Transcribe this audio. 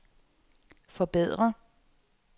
forbedre